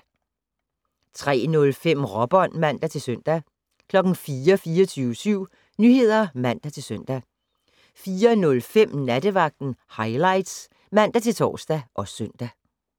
03:05: Råbånd (man-søn) 04:00: 24syv Nyheder (man-søn) 04:05: Nattevagten Highlights (man-tor og søn)